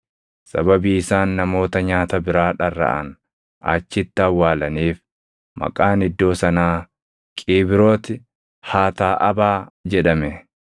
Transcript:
Sababii isaan namoota nyaata biraa dharraʼan achitti awwaalaniif maqaan iddoo sanaa, “Qiibrooti Haataaʼabaa” + 11:34 Qiibrooti Haataaʼabaa jechuun awwaala dharraatotaa jechuu dha. jedhame.